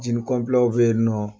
Jini kɔnpilɛ bɛ yen nɔ.